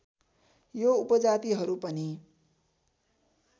यो उपजातिहरू पनि